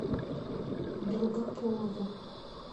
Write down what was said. долгополова